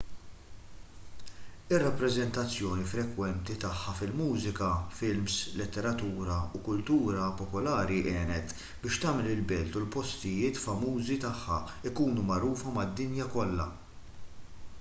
ir-rappreżentazzjoni frekwenti tagħha fil-mużika films letteratura u kultura popolari għenet biex tagħmel il-belt u l-postijiet famużi tagħha jkunu magħrufa mad-dinja kollha